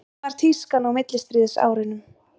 hvernig var tískan á millistríðsárunum